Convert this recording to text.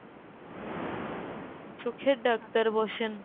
চোখের ডাক্তার বসেন !